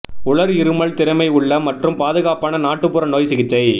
உலர் இருமல் திறமை உள்ள மற்றும் பாதுகாப்பான நாட்டுப்புற நோய் சிகிச்சை